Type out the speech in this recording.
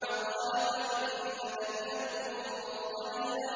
قَالَ فَإِنَّكَ مِنَ الْمُنظَرِينَ